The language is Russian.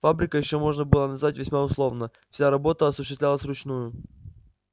фабрикой ещё можно было назвать весьма условно вся работа осуществлялась вручную